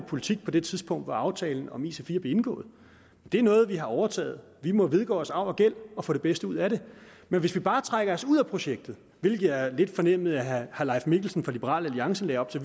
politik på det tidspunkt hvor aftalen om ic4 blev indgået det er noget vi har overtaget og vi må vedgå arv og gæld og få det bedste ud af det men hvis vi bare trækker os ud af projektet hvilket jeg lidt fornemmede at herre leif mikkelsen fra liberal alliance lagde op til